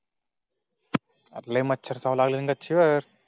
ले मच्छर चावल्या ची वर.